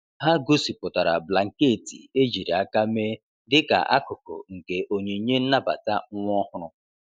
E gosipụtara blanketị ejiri aka mee dịka akụkụ nke onyinye nnabata nwa ọhụrụ.